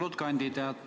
Austatud kandidaat!